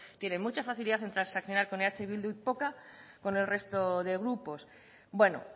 tienen mucha facilidad en transaccionar con eh bildu y poca con el resto de grupos bueno